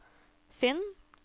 finn